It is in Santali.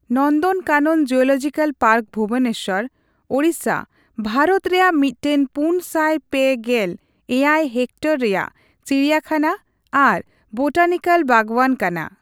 ᱱᱚᱱᱫᱚᱱᱠᱟᱱᱚᱱ ᱡᱩᱞᱚᱡᱤᱠᱟᱞ ᱯᱟᱨᱠ ᱵᱷᱩᱵᱚᱱᱮᱥᱥᱚᱨ, ᱳᱲᱤᱥᱟ, ᱵᱷᱟᱨᱚᱛ ᱨᱮᱭᱟᱜ ᱢᱤᱫᱴᱟᱝ ᱯᱩᱱᱥᱟᱭ ᱯᱮ ᱜᱮᱞ ᱮᱭᱟᱭᱼᱦᱮᱠᱴᱚᱨ ᱨᱮᱭᱟᱜ ᱪᱤᱲᱤᱭᱟᱠᱷᱟᱱᱟ ᱟᱨ ᱵᱳᱴᱟᱱᱤᱠᱮᱞ ᱵᱟᱜᱽᱣᱟᱱ ᱠᱟᱱᱟ ᱾